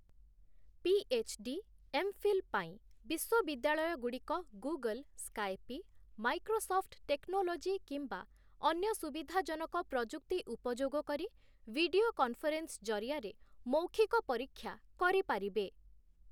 PhD., MPhil ପାଇଁ ବିଶ୍ୱବିଦ୍ୟାଳୟଗୁଡ଼ିକ Google, Skype, Microsoft technology କିମ୍ବା ଅନ୍ୟ ସୁବିଧାଜନକ ପ୍ରଯୁକ୍ତି ଉପଯୋଗ କରି ଭିଡିଓ କନଫରେନ୍ସ ଜରିଆରେ ମୌଖିକ ପରୀକ୍ଷା କରିପାରିବେ ।